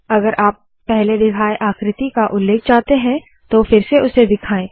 अगर आपको पहले दिखाए आकृति का उल्लेख चाहते है तो फिर से उसे दिखाए